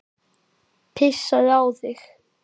Pissaðu á þig.